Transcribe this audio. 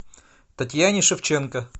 татьяне шевченко